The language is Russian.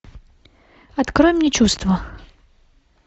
открой мне чувства